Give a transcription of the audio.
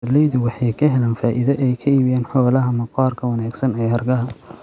Beeralaydu waxay ka helaan faa'iido ay ka iibiyaan xoolaha maqaarka wanaagsan ee hargaha.